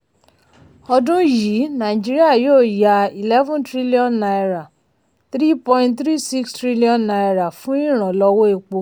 ọdún yìí nàìjíríà yóò ya eleven trillion naira three point three six trillion naira fún ìrànlọ́wọ́ epo.